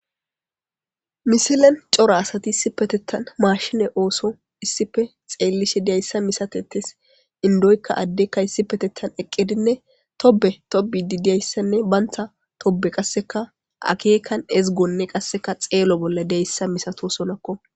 Misilen cora asati issi petettan maashine ooso issife xeellishe diyayssa misatetes indoykka addekka issi petettan eqqidinne tobe tobi di diyayssanne bantha tobe qasseka akeekan ezgonne qasseka xeelo bolla deyssa misato sonakko.